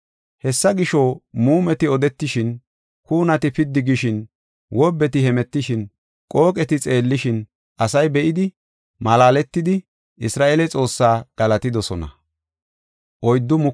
Hessa gisho, muumeti odetishin, kuunati piddi gishin, wobbeti hemetishin, qooqeti xeellishin asay be7idi malaaletidi, Isra7eele Xoossaa galatidosona.